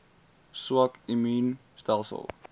swak immuun stelsels